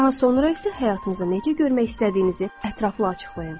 Daha sonra isə həyatınızı necə görmək istədiyinizi ətraflı açıqlayın.